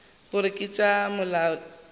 gore ke tša molaletši yo